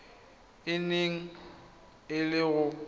e neng e le go